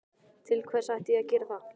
Til hvers ætti ég að gera það?